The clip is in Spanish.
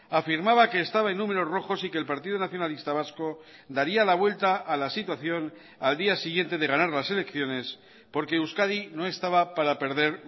afirmaba que estaba en números rojos y que el partido nacionalista vasco daría la vuelta a la situación al día siguiente de ganar las elecciones porque euskadi no estaba para perder